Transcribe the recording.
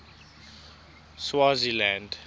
swaziland